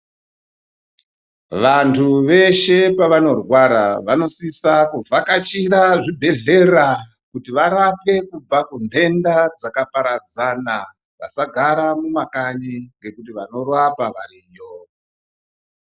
Vantu veshe pavanorwara ,vanosisa kuvhakachira zvibhedhlera, kuti varapwe kubva kunhenda dzakaparadzana , vasagara mumakanyi ngekuti vanorapa variyo.